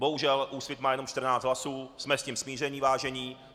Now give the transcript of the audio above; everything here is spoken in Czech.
Bohužel Úsvit má jenom 14 hlasů, jsme s tím smířeni, vážení.